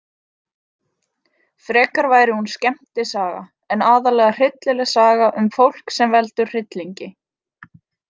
Frekar væri hún skemmtisaga en aðallega hryllileg saga um fólk sem veldur hryllingi.